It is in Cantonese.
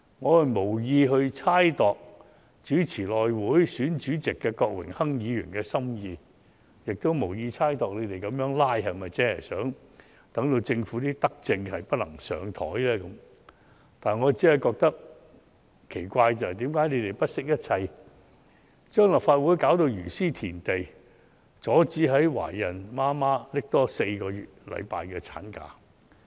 我無意猜度主持內務委員會主席選舉的郭榮鏗議員的心意，也無意猜度他們如此"拉布"的目的，是否要令政府的德政無法"放上檯"，我只是感到奇怪，為何他們不惜一切，將立法會弄致如斯田地，阻止在職懷孕母親多放取4星期產假呢？